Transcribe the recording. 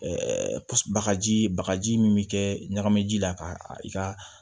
bagaji bagaji min bɛ kɛ ɲagami ji la ka i ka